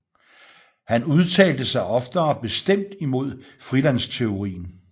Han udtalte sig oftere bestemt imod frihandelsteorien